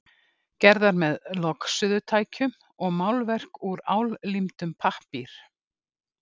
gerðar með logsuðutækjum og málverk úr álímdum pappír.